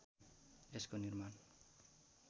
यसको निर्माण